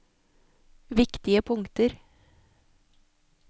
viktige punkter